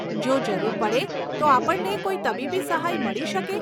જો જરૂર પડે તો આપણને કોઈ તબીબી સહાય મળી શકે?